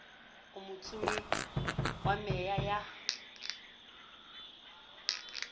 o motsumi wa meya ya